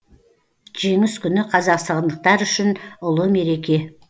жеңіс күні қазақстандықтар үшін ұлы мереке